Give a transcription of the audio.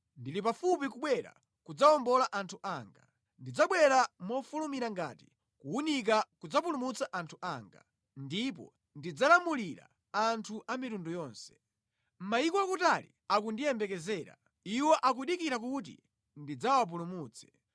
Ndili pafupi kubwera kudzawombola anthu anga. Ndidzabwera mofulumira ngati kuwunika kudzapulumutsa anthu anga; ndipo ndidzalamulira anthu a mitundu yonse. Mayiko akutali akundiyembekezera. Iwo akudikira kuti ndidzawapulumutse.